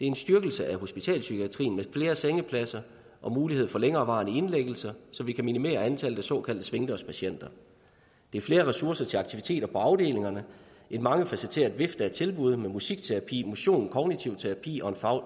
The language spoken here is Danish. en styrkelse af hospitalspsykiatrien med flere sengepladser og mulighed for længerevarende indlæggelser så vi kan minimere antallet af såkaldte svingdørspatienter det er flere ressourcer til aktiviteter på afdelingerne en mangefacetteret vifte af tilbud med musikterapi motion kognitiv terapi og